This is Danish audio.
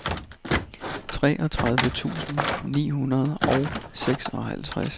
treogtredive tusind ni hundrede og seksoghalvtreds